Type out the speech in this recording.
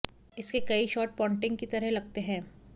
इसके कई shot Ponting की तरह लगते है